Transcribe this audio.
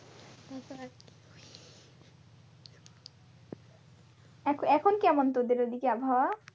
এখন এখন কেমন তোদের ঐদিকে আবহাওয়া?